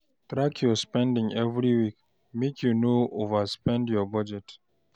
Track your spending every week, make you no overspend your budget.